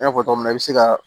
I n'a fɔ togo min na i be se ka